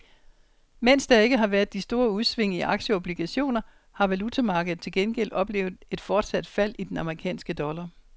Mens der ikke har været de store udsving i aktier og obligationer har valutamarkedet til gengæld oplevet et fortsat fald i den amerikanske dollar.